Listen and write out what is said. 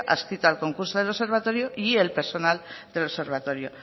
adscrito al concurso del observatorio y el personal del observatorio